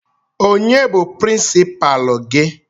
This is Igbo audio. Onye bụ prinsipalu gị?